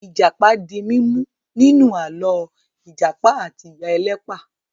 Ìjàpá di mímú nínú àlọ́ 'Ìjàpá àti Ìyá Ẹlẹ́pà'.